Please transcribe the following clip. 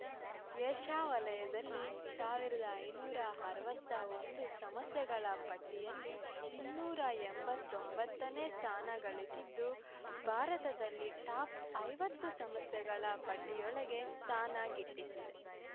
Asia ವಲಯದಲ್ಲಿ ಸಾವಿರದ ಐನೂರ ಅರವತ್ತೊಂದು ಸಂಸ್ಥೆಗಳ ಪಟ್ಟಿಯಲ್ಲಿ ಇನ್ನೂರ ಎಂಬತ್ತೊಂಬತ್ತನೇ ಸ್ಥಾನಗಳಿಸಿದ್ದು ಭಾರತದಲ್ಲಿ ಟಾಪ್‌ ಐವತ್ತು ಸಂಸ್ಥೆಗಳ ಪಟ್ಟಿಯೊಳಗೆ ಸ್ಥಾನ ಗಿಟ್ಟಿಸಿದೆ